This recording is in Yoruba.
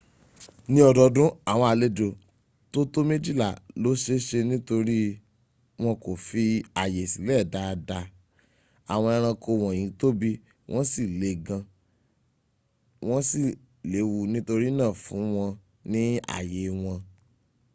ní ọdọdún àwọn àlejo tó tó méjìlá ló ṣèṣe nítorí wọn kò fi àyè sílẹ̀ dáadáa àwọn eranko wọ́nyí tóbí wọ́n sí le gan wan sí léwu nítorínà fún wọ́n ní àyè wọn